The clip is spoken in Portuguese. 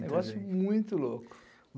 Negócio muito louco.